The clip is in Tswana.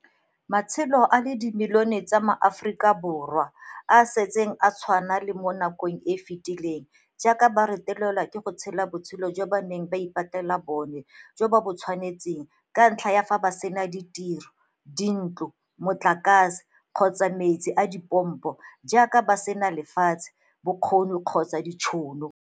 Matshelo a le dimilione tsa MaAforika Borwa a santse a tshwana le a mo nakong e e fetileng jaaka ba retelelwa ke go tshela botshelo jo ba neng ba ipatlela bona jo bo ba tshwanetseng ka ntlha ya fa ba sena ditiro, dintlo, motlakase kgotsa metsi a dipompo, jaaka ba sena lefatshe, bokgoni kgotsa ditšhono.